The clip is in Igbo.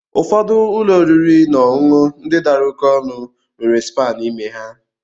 Ụfọdụ ụlọ oriri na ọṅụṅụ ndị dara oké ọnụ nwere spaa n'ime ha.